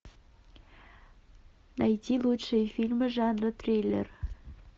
найти лучшие фильмы жанра триллер